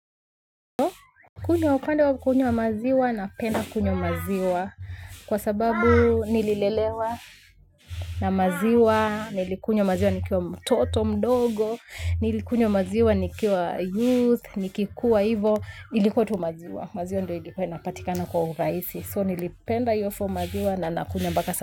Kunywa upande wa kunywa maziwa napenda kunywa maziwa kwa sababu nililelewa na maziwa, nilikunywa maziwa nikiwa mtoto mdogo, nilikunywa maziwa nikiwa youth, nikikuwa hivo, ilikuwa tu maziwa, maziwa ndio ilikuwa inapatikana kwa urahisi, so nilipenda iyo maziwa na na kunywa mpaka sa.